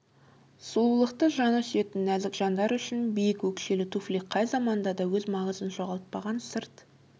сұлулықты жаны сүйетін нәзік жандар үшін биік өкшелі туфли қай заманда да өз маңызын жоғалтпаған сырт